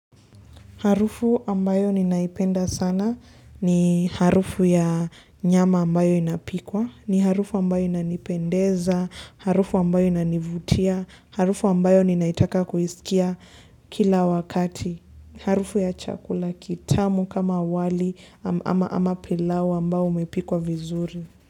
Harufu ambayo ninaipenda sana ni harufu ya nyama ambayo inapikwa, ni harufu ambayo inanipendeza, harufu ambayo inanivutia, harufu ambayo inaitaka kuisikia kila wakati. Harufu ya chakula kitamu kama wali ama pilau ambao umepikwa vizuri.